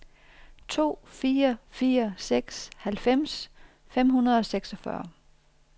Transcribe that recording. to fire fire seks halvfems fem hundrede og seksogfyrre